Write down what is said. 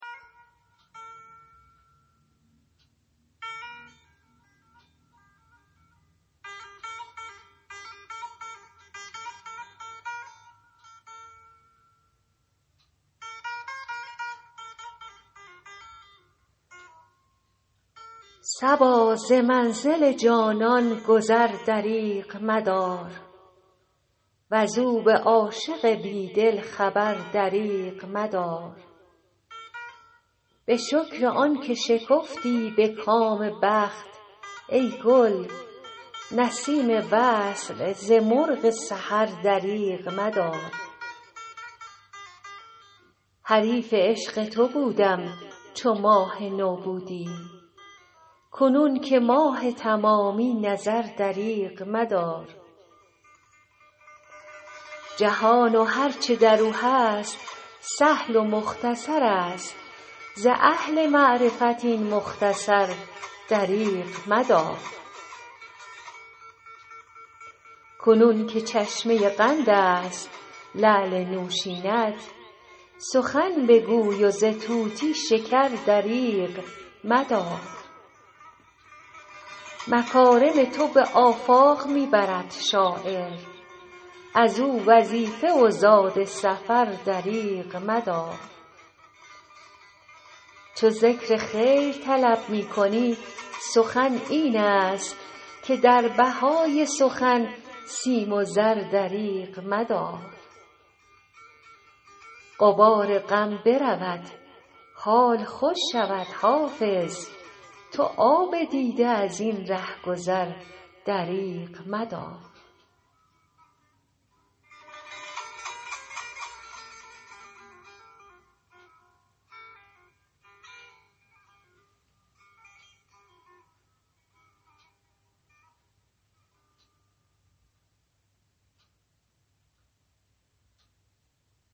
صبا ز منزل جانان گذر دریغ مدار وز او به عاشق بی دل خبر دریغ مدار به شکر آن که شکفتی به کام بخت ای گل نسیم وصل ز مرغ سحر دریغ مدار حریف عشق تو بودم چو ماه نو بودی کنون که ماه تمامی نظر دریغ مدار جهان و هر چه در او هست سهل و مختصر است ز اهل معرفت این مختصر دریغ مدار کنون که چشمه قند است لعل نوشین ات سخن بگوی و ز طوطی شکر دریغ مدار مکارم تو به آفاق می برد شاعر از او وظیفه و زاد سفر دریغ مدار چو ذکر خیر طلب می کنی سخن این است که در بهای سخن سیم و زر دریغ مدار غبار غم برود حال خوش شود حافظ تو آب دیده از این ره گذر دریغ مدار